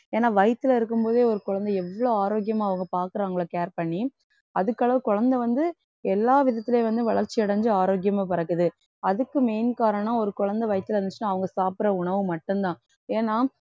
ஏன்னா வயித்துல இருக்கும் போதே ஒரு குழந்தை எவ்ளோ ஆரோக்கியமா அவங்க பாக்குறாங்களோ care பண்ணி அதுக்கு அளவு குழந்தை வந்து எல்லா விதத்துலயும் வந்து வளர்ச்சி அடைஞ்சு ஆரோக்கியமா பிறக்குது அதுக்கு main காரணம் ஒரு குழந்தை வயித்துல இருந்துச்சுன்னா அவங்க சாப்பிடற உணவு மட்டும்தான் ஏன்னா